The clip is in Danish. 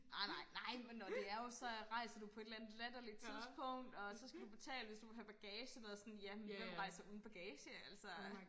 Ej nej nej men når det er jo så rejser du på et eller andet latterligt tidspunkt og så skal du betale hvis du vil have bagage med sådan ja men hvem rejser uden bagage altså